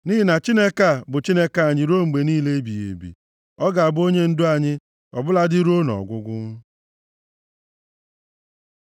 Nʼihi na Chineke a, bụ Chineke anyị ruo mgbe niile ebighị ebi, ọ ga-abụ onyendu anyị, ọ bụladị ruo nʼọgwụgwụ.